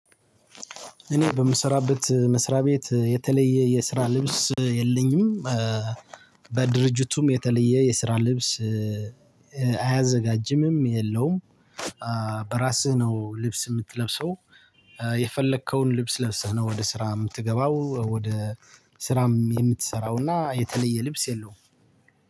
እኔ በምስራበት መስሪያ ቤት የተለየ የስራ ልብስ የለኝም። በድርጅቱም የተለየ የስራ ልብስ አያዘጋጅምም የለውም። በራስህ ነው ልብስ የምትለብሰው? የፈለከውን ልብስ ለብሰህ ነው ወደ ስራ የምትገባው። ወደ ስራም የምትሰራው እና የተለየ ልብስ የለውም።